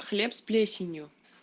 хлеб с плесеню